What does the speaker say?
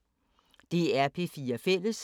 DR P4 Fælles